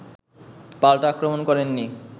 পাল্টা আক্রমণ করেন নি